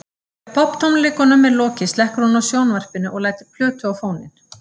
Þegar popptónleikunum er lokið slekkur hún á sjónvarpinu og lætur plötu á fóninn.